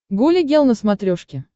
гуля гел на смотрешке